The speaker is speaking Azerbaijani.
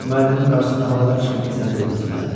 Müəllimin qarşısında havadar çıxım ki, səni döyməsinlər?